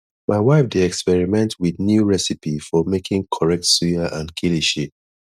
my wife dey experiment with new recipe for making correct suya and kilishi